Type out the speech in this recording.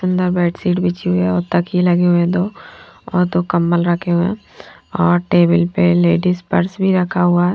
अंदर bed sheet बिछी हुई है और तकिए लगे हुए है दो और दो कंबल रखे हुए है और टेबल पे लेडिज पर्स भी रखा हुआ --